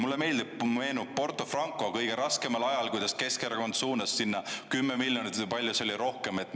Mulle meenub Porto Franco kõige raskemal ajal, kuidas Keskerakond suunas sinna 10 miljonit või – palju see oli?